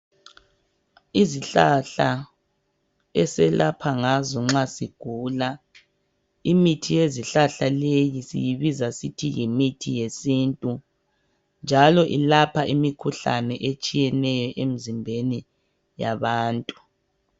Izihlahla eselapha ngazo nxa sigula imithi yezihlahla leyi siyibiza sithi yimithi yesintu njalo ilapha imikhuhlane etshiyeneyo emzimbeni yabantu.